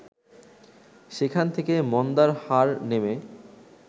সেখান থেকে মন্দার হার নেমে